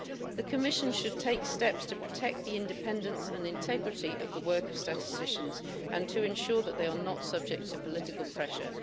The Commission should take steps to protect the independence and integrity of the work of statisticians and to ensure that they are not subject to political pressure.